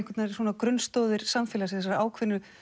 grunnstoðir samfélagsins og ákveðnar